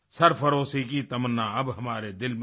सरफ़रोशी की तमन्ना अब हमारे दिल में है